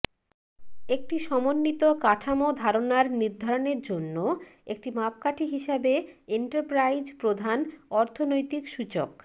একটি সমন্বিত কাঠামো ধারণার নির্ধারণের জন্য একটি মাপকাঠি হিসাবে এন্টারপ্রাইজ প্রধান অর্থনৈতিক সূচক